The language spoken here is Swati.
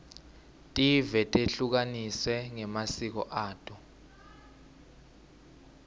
tive tehlukaniswe ngemasiko ato